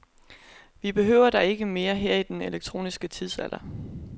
Vi behøver dig ikke mere her i den elektroniske tidsalder.